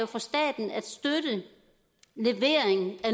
for staten at støtte levering af